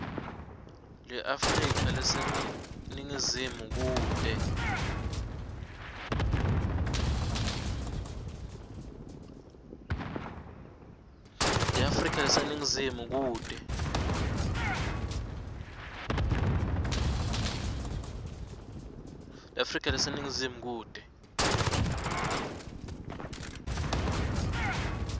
leafrika leseningizimu kute